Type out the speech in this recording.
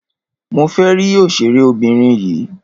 Mo fẹ́ rí òṣèré obìnrin yìí.